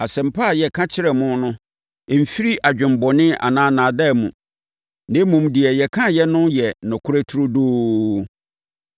Asɛmpa a yɛka kyerɛɛ mo no mfiri adwemmɔne anaa nnaadaa mu, na mmom, deɛ yɛkaeɛ no yɛ nokorɛ turodoo.